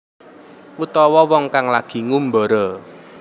Utawa wong kang lagi ngumbara